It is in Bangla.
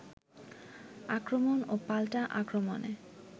আক্রমণ ও পাল্টা আক্রমণে